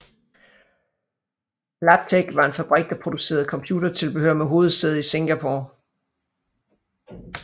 Labtec var en fabrik der producerede computertilbehør med hovedsæde i Singapore